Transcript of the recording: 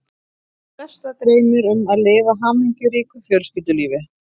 Flesta dreymir um að lifa hamingjuríku fjölskyldulífi.